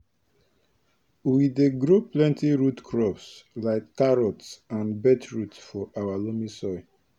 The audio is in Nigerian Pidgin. we dey grow plenty root crops like carrots and beetroot for our loamy soil